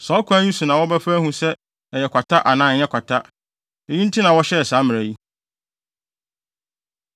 Saa ɔkwan yi so na wɔbɛfa ahu sɛ ɛyɛ kwata anaa ɛnyɛ kwata. Eyi nti na wɔhyɛɛ saa mmara yi.